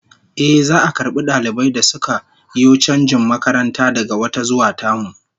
Ehh, za'a karbi dalibai da suka yo chanjin makaranta daga wata zuwa tamu